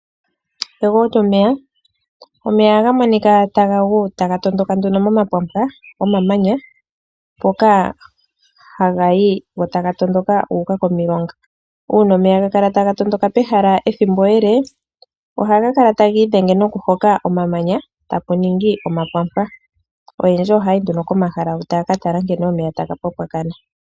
Egwo lyomeya Omeya ohaga monika taga gu taga tondoka momapwampwa gomamanya mpoka haga yi go taga tondoka gu uka komilonga. Uuna omeya ga kala taga tondoka pehala ethimbo ele ohaga kala taga idhenge nokuhoka omamanya sigo pwa ningi omapwampwa. Oyendji ohaya yi nduno komahala huka taya ka tala nkene omeya taga pwampwakana.